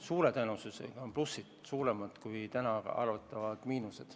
Suure tõenäosusega on plussid suuremad kui täna eeldatavad miinused.